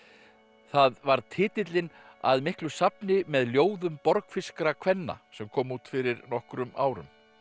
það varð titillinn að miklu safni með ljóðum kvenna sem kom út fyrir nokkrum árum